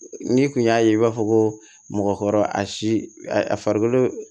N'i kun y'a ye i b'a fɔ ko mɔgɔkɔrɔ a si a farikolo